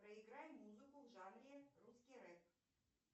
проиграй музыку в жанре русский рэп